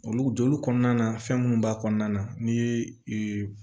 Olu jɔli kɔnɔna na fɛn minnu b'a kɔnɔna na n'i ye